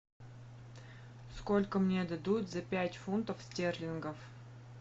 сколько мне дадут за пять фунтов стерлингов